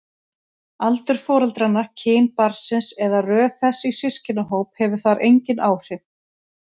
Aldur foreldranna, kyn barnsins eða röð þess í systkinahóp hefur þar engin áhrif.